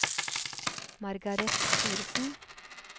Margareth Thoresen